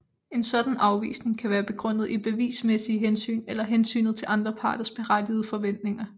En sådan afvisning kan være begrundet i bevismæssige hensyn eller hensynet til andre parters berettigede forventninger